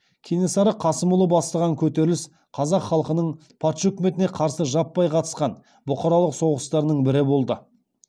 кенесары қасымұлы бастаған көтеріліс қазақ халқының патша үкіметіне қарсы жаппай қатысқан бұқаралық соғыстарының бірі болды